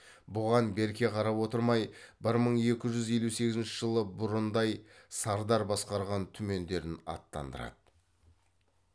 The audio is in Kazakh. бұған берке қарап отырмай бір мың екі жүз елу сегізінші жылы бұрындай сардар басқарған түмендерін аттандырады